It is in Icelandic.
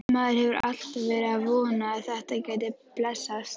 Maður hefur alltaf verið að vona að þetta gæti blessast.